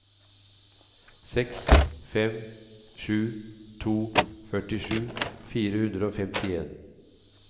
seks fem sju to førtisju fire hundre og femtien